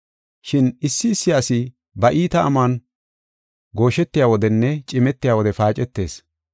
Shin issi issi asi ba iita amuwan gooshetiya wodenne cimetiya wode paacetees.